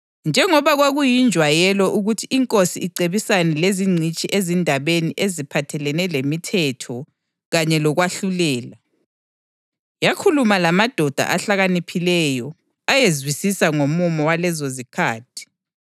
Njengoba kwakuyinjwayelo ukuthi inkosi icebisane lezingcitshi ezindabeni eziphathelene lemithetho kanye lokwahlulela, yakhuluma lamadoda ahlakaniphileyo ayezwisisa ngomumo walezozikhathi